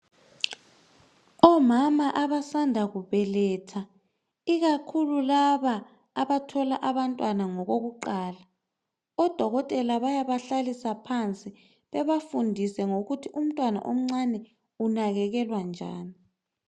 Omama abasanda kubeletha, ikakhulu laba abathola abantwana ngokokuqala. Odokotela bayabahlalisa phansi, bebafundise ngokuthi umntwana omncane unakekelwa njani.